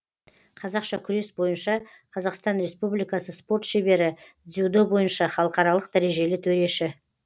қазақша күрес бойынша қазақстан республикасы спорт шебері дзюдо бойынша халықаралық дәрежелі төреші